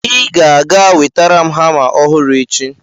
ị ga-aga wetara m hama ọhụrụ echi!